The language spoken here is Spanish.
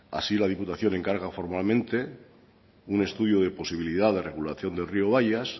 así la diputación encarga formalmente un estudio de posibilidad de regulación del rio bayas